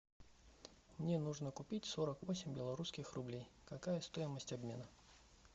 мне нужно купить сорок восемь белорусских рублей какая стоимость обмена